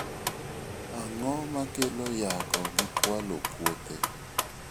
Ang'o makelo yako gi kwalo puothe?